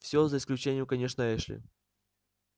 всё за исключением конечно эшли